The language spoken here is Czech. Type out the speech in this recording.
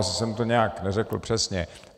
Asi jsem to nějak neřekl přesně.